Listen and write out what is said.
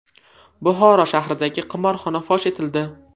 Buxoro shahridagi qimorxona fosh etildi.